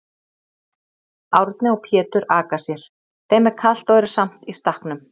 Árni og Pétur aka sér, þeim er kalt og eru samt í stakknum.